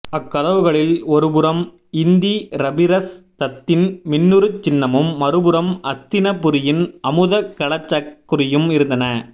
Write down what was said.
அக்கதவுகளில் ஒருபுறம் இந்திரபிரஸ்தத்தின் மின்னுருச் சின்னமும் மறுபுறம் அஸ்தினபுரியின் அமுதகலசக் குறியும் இருந்தன